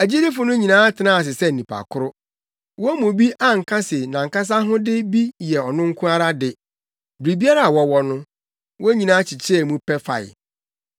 Agyidifo no nyinaa tenaa ase sɛ nnipa koro. Wɔn mu bi anka se nʼankasa ahode bi yɛ ɔno nko ara de; biribiara a wɔwɔ no, wɔn nyinaa kyekyɛɛ mu pɛ fae.